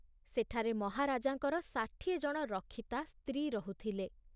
ସେଠାରେ ମହାରାଜାଙ୍କର ଷାଠିଏ ଜଣ ରକ୍ଷିତା ସ୍ତ୍ରୀ ରହୁଥିଲେ।